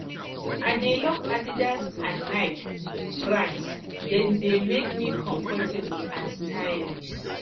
i dey love adidas and and nike brands dem dey make me comfortable and stylish